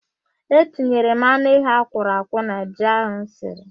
E tinyere m anụ ehi akwọrọ akwọ na ji ahụ m siri.